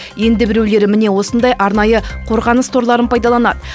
енді біреулері міне осындай арнайы қорғаныс торларын пайдаланады